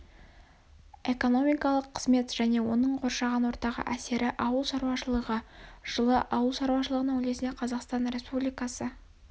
экономикалық қызмет және оның қоршаған ортаға әсері ауыл шарушылығы жылы ауыл шарушылығының үлесіне қазақстан республикасы